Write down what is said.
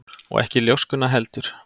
Og ekki ljóskuna heldur.